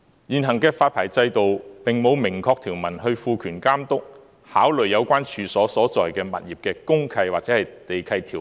現行的發牌制度並無明確條文賦權監督，考慮有關處所所在的物業的公契或地契條文。